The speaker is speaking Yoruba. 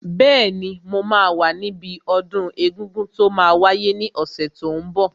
Bẹ́ẹ̀ni, mo máa wà níbi ọdún egungun tó máa wáyé ní ọ̀sẹ̀ tó n bọ̀